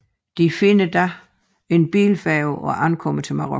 De finder dog en bilfærge og ankommer til Marokko